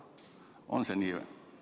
On see nii?